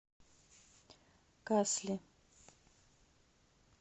касли